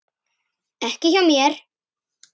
Ekki hjá mér.